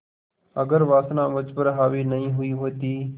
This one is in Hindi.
अगर वासना मुझ पर हावी नहीं हुई होती